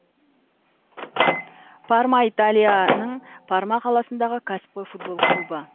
парма италияның парма қаласындағы кәсіпқой футбол клубы